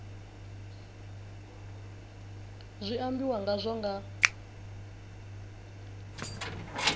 zwi ambiwa nga hazwo nga